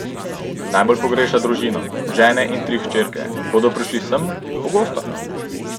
Najbolj pogreša družino, ženo in tri hčerke: "Bodo prišli sem, pogosto.